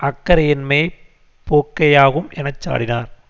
அக்கறையின்மைப் போக்கேயாகும் என சாடினார்